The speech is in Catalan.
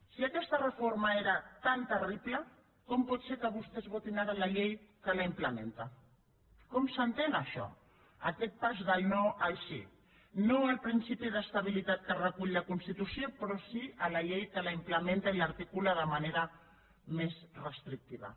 si aquesta reforma era tan terrible com pot ser que vostès votin ara la llei que la implementa com s’entén això aquest pas del no al sí no al principi d’estabilitat que recull la constitució però sí a la llei que la implementa i l’articula de manera més restrictiva